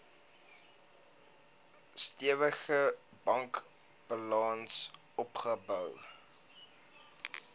stewige bankbalans opgebou